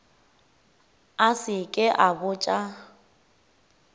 a se ke a botša